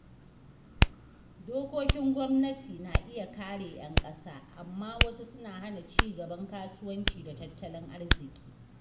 Dokokin gwamnati na iya kare ‘yan ƙasa, amma wasu suna hana ci gaban kasuwanci da tattalin arziƙi.